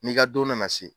N'i ka don nana se